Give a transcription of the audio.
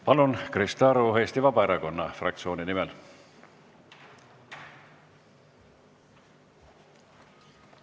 Palun, Krista Aru Eesti Vabaerakonna fraktsiooni nimel!